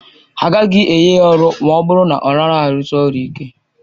A gaghị enye ya ọrụ ma ọ bụrụ na ọ naghị arụsi ọrụ ịke